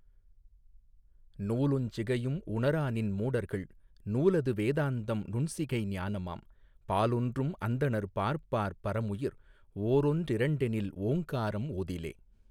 நூலுஞ் சிகையும் உணராநின் மூடர்கள் நூலது வேதாந்தம் நுண்சிகை ஞானமாம் பாலொன்றும் அந்தணர் பார்ப்பார் பரமுயிர் ஓரொன் றிரண்டெனில் ஓங்காரம் ஓதிலே.